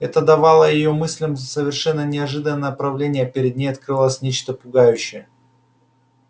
это давало её мыслям совершенно неожиданное направление перед ней открывалось нечто пугающее